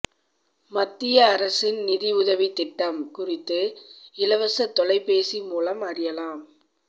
மத்திய அரசின் நிதியுதவித் திட்டம் குறித்து இலவச தொலைபேசி மூலம் அறியலாம்